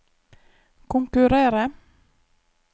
konkurrere